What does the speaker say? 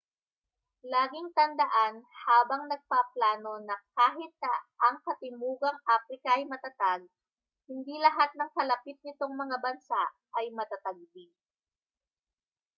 laging tandaan habang nagpaplano na kahit na ang katimugang aprika ay matatag hindi lahat ng kalapit nitong mga bansa ay matatag din